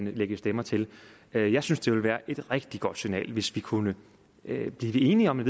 lægge stemmer til jeg synes det ville være et rigtig godt signal hvis vi kunne blive enige om et